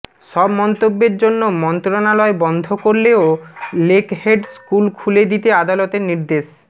সব মন্তব্যের জন্য মন্ত্রণালয় বন্ধ করলেও লেকহেড স্কুল খুলে দিতে আদালতের নির্দেশ